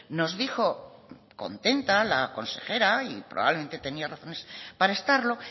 nos dijo contenta la consejera y probablemente tenía razones para estarlo